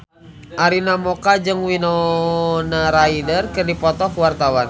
Arina Mocca jeung Winona Ryder keur dipoto ku wartawan